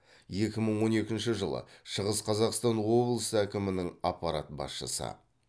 екі мың он екінші жылы шығыс қазақстан облысы әкімінің аппарат басшысы